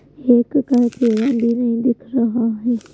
एक का चेहरा भी नहीं दिख रहा है।